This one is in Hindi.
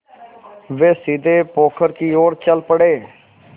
वे सीधे पोखर की ओर चल पड़े